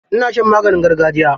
Ina shan maganin gargajiya.